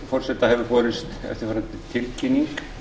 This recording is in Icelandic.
forseta hefur borist eftirfarandi tilkynning